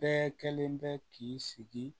Bɛɛ kelen bɛ k'i sigi